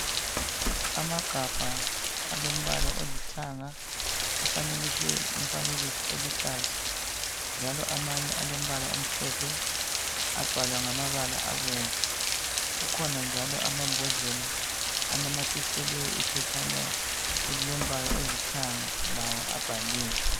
amagabha alomala olithanga afanekiswe umfanekiso oluhlaza njalo amanye alombala omhlophe abhalwa ngamabala abomvu akhona njalom amambodlela anamathiselwe iphetshana elilombala olithanga lawo abhaliwe